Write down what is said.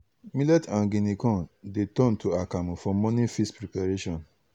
millet and guinea corn dey turn to akamu for morning feast preparation.